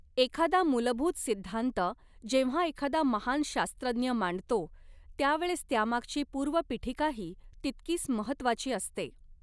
एखादा मूलभूत सिद्धांत जेव्हा एखादा महान शास्त्रज्ञ मांडतो त्यावेळेस त्यामागची पूर्वपीठिकाही तितकीच महत्वाची असते.